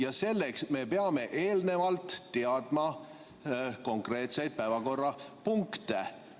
Aga selleks me peame eelnevalt teadma konkreetseid päevakorrapunkte.